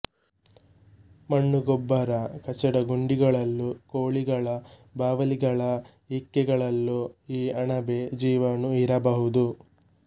ಮಣ್ಣು ಗೊಬ್ಬರ ಕಚಡ ಗುಂಡಿಗಳಲ್ಲೂ ಕೋಳಿಗಳ ಬಾವಲಿಗಳ ಇಕ್ಕೆಗಳಲ್ಲೂ ಈ ಅಣಬೆ ಜೀವಾಣು ಇರಬಹುದು